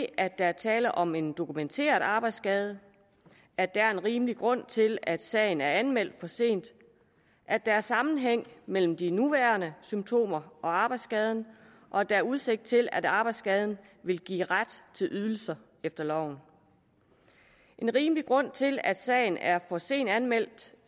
at der er tale om en dokumenteret arbejdsskade at der er en rimelig grund til at sagen er anmeldt for sent at der er sammenhæng mellem de nuværende symptomer og arbejdsskaden og at der er udsigt til at arbejdsskaden vil give ret til ydelser efter loven en rimelig grund til at sagen er for sent anmeldt